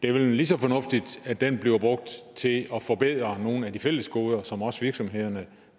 er lige så fornuftigt at den bliver brugt til at forbedre nogle af de fælles goder som også virksomhederne